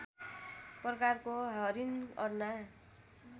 प्रकारको हरिण अर्ना